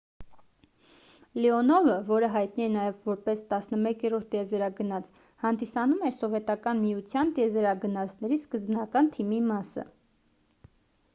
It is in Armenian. լեոնովը որը հայտնի է նաև որպես 11-րդ տիեզերագնաց հանդիսանում էր սովետական միության տիեզերագնացների սկզբնական թիմի մասը